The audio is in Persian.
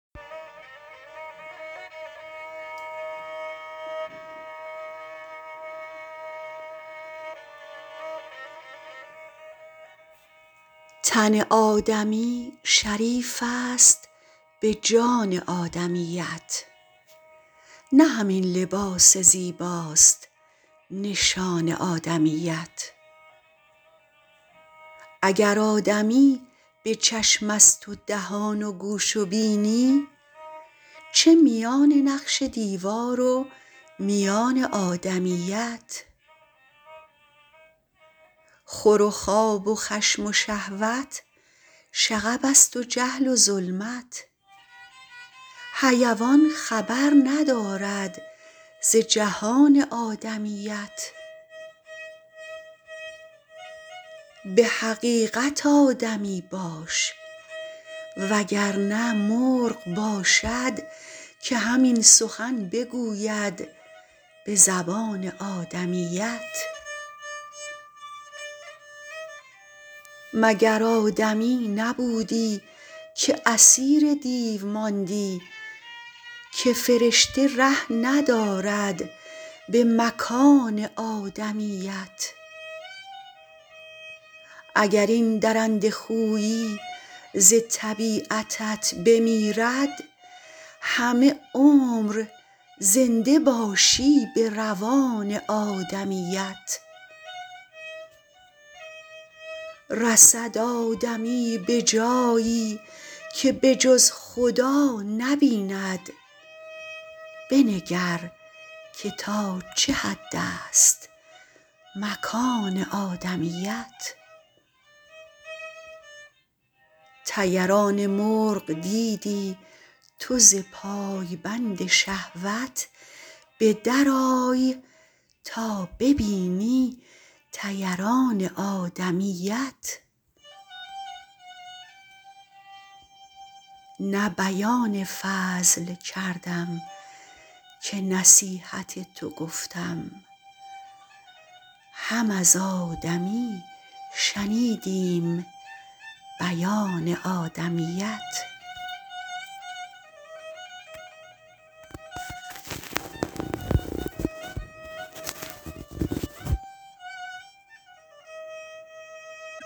تن آدمی شریف است به جان آدمیت نه همین لباس زیباست نشان آدمیت اگر آدمی به چشم است و دهان و گوش و بینی چه میان نقش دیوار و میان آدمیت خور و خواب و خشم و شهوت شغب است و جهل و ظلمت حیوان خبر ندارد ز جهان آدمیت به حقیقت آدمی باش وگر نه مرغ باشد که همین سخن بگوید به زبان آدمیت مگر آدمی نبودی که اسیر دیو ماندی که فرشته ره ندارد به مکان آدمیت اگر این درنده خویی ز طبیعتت بمیرد همه عمر زنده باشی به روان آدمیت رسد آدمی به جایی که به جز خدا نبیند بنگر که تا چه حد است مکان آدمیت طیران مرغ دیدی تو ز پایبند شهوت به در آی تا ببینی طیران آدمیت نه بیان فضل کردم که نصیحت تو گفتم هم از آدمی شنیدیم بیان آدمیت